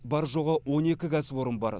бар жоғы он екі кәсіпорын бар